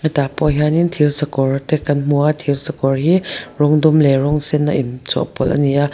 he tah pawh hianin thir sakawr te kan hmu a thir sakawr hi rawng dum leh rawng sen a inchawhpawlh a ni a.